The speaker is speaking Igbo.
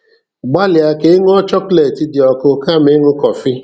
Gbalịa ka ị ṅụọ Chọkọlet dị ọkụ kama ịṅụ kọfị.